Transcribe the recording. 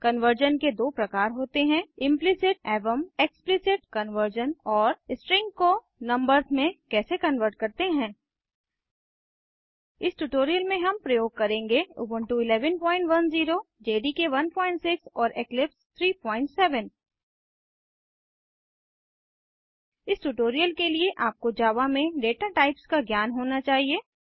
conversion के दो प्रकार होते हैं इम्प्लिसिट एवं एक्सप्लिसिट कन्वर्जन और स्ट्रिंग्स को नम्बर्स में कैसे कन्वर्ट करते हैं इस ट्यूटोरियल में हम प्रयोग करेंगे उबुंटू 1110 जेडीके 16 और इक्लिप्स 37 इस ट्यूटोरियल के लिए आपको जावा में डेटा टाइप्स का ज्ञान होना चाहिए